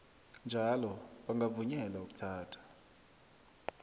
njalo bangavunyelwa ukuthatha